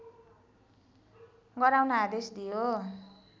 गराउन आदेश दियो